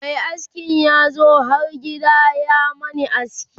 Mai askin yazo har gida ya Mani aski